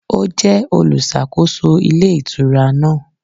Ó jẹ́ olùsàkóso Ilé Ìtura náà